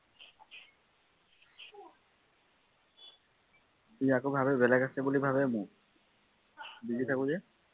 সি আকৌ ভাৱে বেলেগ আছে বুলি ভাৱে মোৰ busy থাকো যে